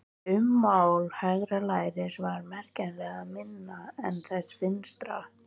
Ummál hægra læris var merkjanlega minna en þess vinstra.